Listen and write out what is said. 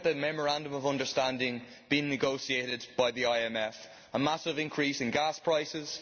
Look at the memorandum of understanding being negotiated by the IMF a massive increase in gas prices